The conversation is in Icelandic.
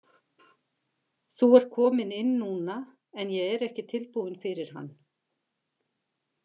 Þú ert kominn inn núna en ég er ekki tilbúin fyrir hann.